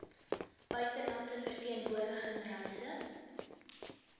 buitelandse verteenwoordiging reise